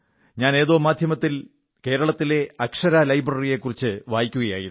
ഞാൻ ഏതോ മാധ്യമത്തിൽ കേരളത്തിലെ അക്ഷരാ ലൈബ്രറിയെക്കുറിച്ച് വായിക്കുകയായിരുന്നു